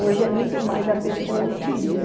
Hoje é muito mais a pessoa utiliza.